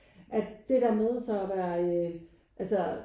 At det der med så at være øh alstå